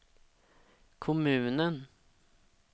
kommunen